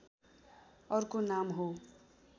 अर्को नाम हो